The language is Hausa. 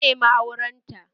Ya nemi auren ta